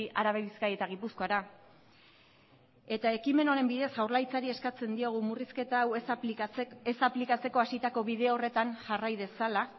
araba bizkaia eta gipuzkoara eta ekimen honen bidez jaurlaritzari eskatzen diogu murrizketa hau ez aplikatzeko hasitako bide horretan jarrai dezala